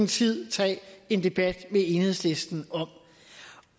tid tage en debat med enhedslisten